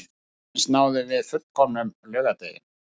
Loksins náðum við fullkomnum laugardegi